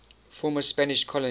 former spanish colonies